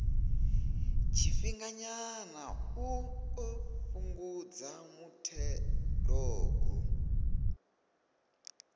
tshifhinganyana u ḓo fhungudza muthelogu